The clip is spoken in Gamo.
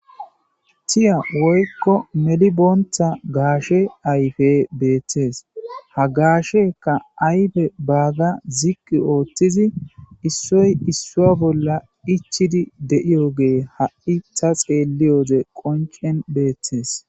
Tiya woyikko medhdhibontha gashe ayife bettes ha gashshekka ayiffe bagga ziq oththizi issoy issuwa bolla ichidi deyogge ha'i dheliyode qonc'en bettes.